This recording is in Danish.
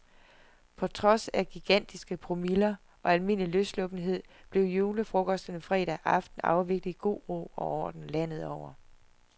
På trods af gigantiske promiller og almindelig løssluppenhed blev julefrokosterne fredag aften afviklet i god ro og orden landet over.